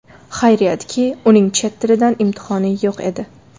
Xayriyatki, uning chet tilidan imtihoni yo‘q edi.